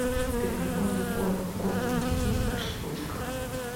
в переговорной комнате есть прослушка